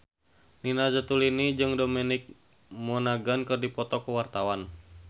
Nina Zatulini jeung Dominic Monaghan keur dipoto ku wartawan